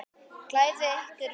Klæðið ykkur vel.